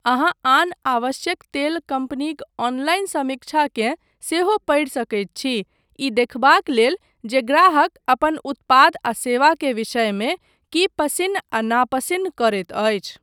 अहाँ आन आवश्यक तेल कम्पनीक ऑनलाइन समीक्षाकेँ सेहो पढ़ि सकैत छी, ई देखबाक लेल जे ग्राहक अपन उत्पाद आ सेवा के विषयमे की पसिन्न आ नापसिन्न करैत अछि।